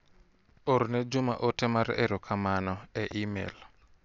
Orne Juma ote mar ero kamano e imel.